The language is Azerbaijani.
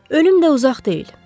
Ölüm də uzaq deyil.